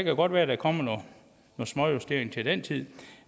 jo godt være at der kommer nogle småjusteringer til den tid